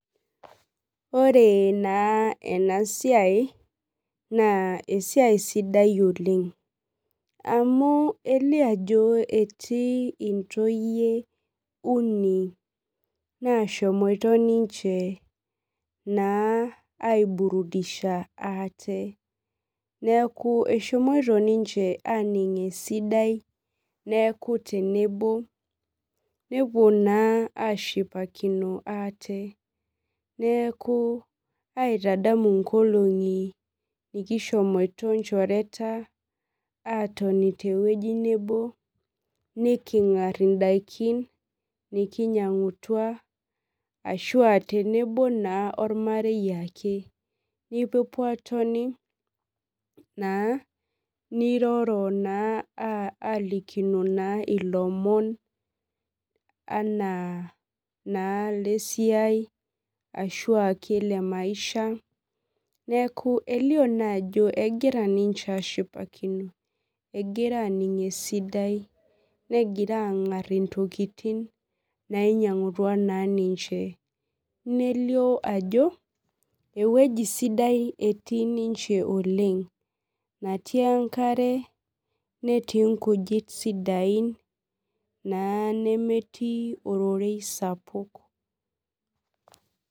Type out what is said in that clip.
Ore na enasiai na esiai sidai oleng na elio ajo etii ntoyie uni nashomoito ninche aiburudisha ate neaku eshomoita ninye aning esidai nepuo ashipakino ate neaku aitadamu nkolongi nikishomoita onchoreta atoni tewui nebo nikingar endaa nikinyangutua tenebo ormarei ake nipuopuo atoni airo na nilikinino lomon ana na lesiai ashu lemaisha neaku elio naajo egira nimche ashipakino egira aning esidai angar ntokitin nainyangutua ninche nelio ajo ewueji sidai etii ninche oleng natii enkare netii nkujit sidain nemetii ororei sapuk.